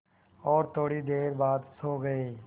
और थोड़ी देर बाद सो गए